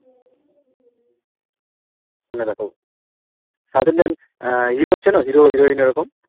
phone এ দেখো south Inidan আহ hero চেনো hero heroine এরকম